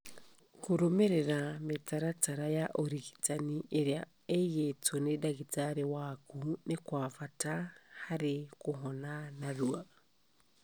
Kũrũmĩrĩra mĩtaratara ya ũrigitani ĩrĩa ĩigĩtwo nĩ ndagĩtarĩ waku nĩ kwa bata harĩ kũhona narua.